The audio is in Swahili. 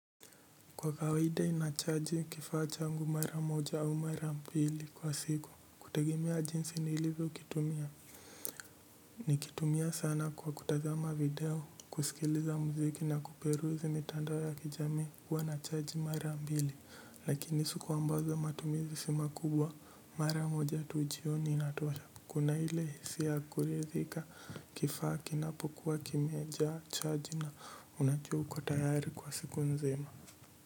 Kwa kawaida inachargi kifaa changu mara moja au mara mbili kwa siku kutegemea jinsi nilivyo kitumia. Nikitumia sana kwa kutazama video kusikiliza muziki na kuperuzi mitandao ya kijamii huwa nacharge mara mbili lakini siku ambazo matumizi simakubwa mara moja tu jioni inatosha. Kuna ile hisia ya kuridhika kifaa kinapokuwa kimejaa charge na unajua uko tayari kwa siku nzima.